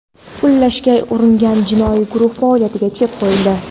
pullashga uringan jinoiy guruh faoliyatiga chek qo‘yildi.